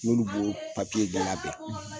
N'olu b'o de labɛn